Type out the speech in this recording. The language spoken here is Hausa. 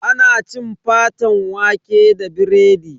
Ana cin faten waƙe da biredi.